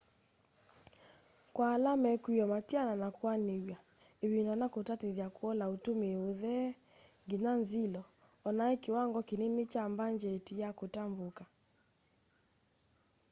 kwa ala mekwiwa matiana na kûanîwa îvinda na kûtatîthya kûola ûtûmîi ûthee nginya nzilo onai kiwango kinini kya mbangyeti ya kûtambûka